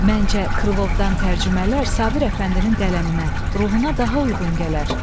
Məncə, Krılovdan tərcümələr Sabir əfəndinin qələminə, ruhuna daha uyğun gələr.